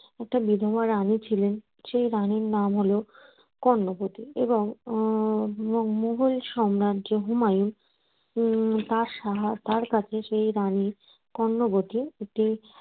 একটা বিধবা রানী ছিলেন সেই রানীর নাম হল কর্ণবতী এবং উম মু মুঘল সাম্রাজ্যের হুমায়ুন। উম তার সহায় তার কাছে সেই রানী কর্ণবতী একটি